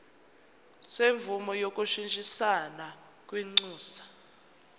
semvume yokushintshisana kwinxusa